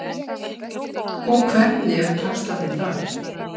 Og hvernig eru taxtarnir þar?